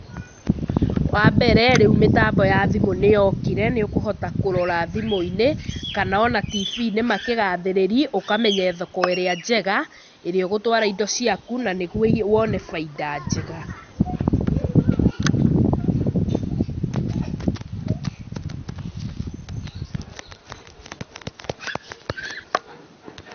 Wa mbere, rĩu mĩtambo ya thimũ nĩyokire nĩũkũhota kũrora thimũ-inĩ kana on tibi-inĩ makĩgathĩrĩria ũkamenya thoko ĩrĩa njega, ĩrĩa ũgĩtwara indo ciaku, na nĩguo wone bainda njega.